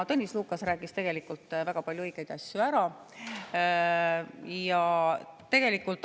Tõnis Lukas rääkis väga palju õigeid asju ära, ma ei hakka seda üle kordama.